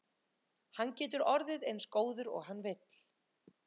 Hann getur orðið eins góður og hann vill.